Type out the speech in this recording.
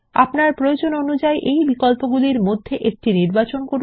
আপনার প্রয়োজন অনুযায়ী এই বিকল্পগুলির মধ্যে একটি নির্বাচন করুন